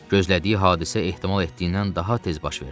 Gözlədiyi hadisə ehtimal etdiyindən daha tez baş verdi.